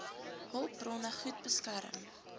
hulpbronne goed beskerm